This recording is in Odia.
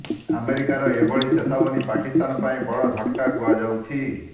ଆମେରିକାର ଏଭଳି ଚେତାବନୀ ପାକିସ୍ତାନ ପାଇଁ ବଡ ଝଟକା କୁହାଯାଉଛି